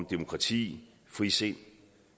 demokrati frisind og